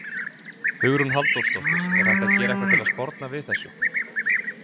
Hugrún Halldórsdóttir: Er hægt að gera eitthvað til að sporna við þessu?